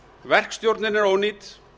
verkstjórnin er ónýt